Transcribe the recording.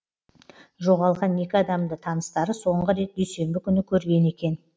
жоғалған екі адамды таныстары соңғы рет дүйсенбі күні көрген екен